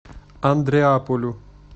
андреаполю